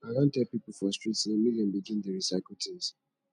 i don dey tell pipo for street sey make dem begin dey recycle tins